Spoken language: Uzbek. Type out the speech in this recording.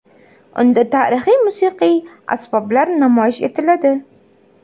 Unda tarixiy musiqiy asboblar namoyish etiladi.